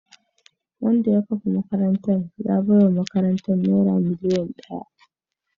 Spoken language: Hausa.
Wanda ya kafa makarantar ya baiwa makarantar naira miliyan daya